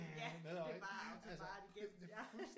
Ja det er bare autobahn igennem ja